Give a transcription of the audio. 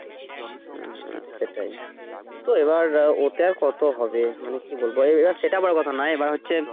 হু হু সেটাই তো এবার ওতে আর কতো হবে মানে কি বলব এবার সেটা বড় কথা না এবার হচ্ছে।